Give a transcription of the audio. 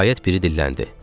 Nəhayət biri dilləndi.